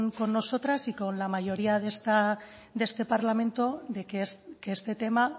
con nosotras y con la mayoría de este parlamento de que este tema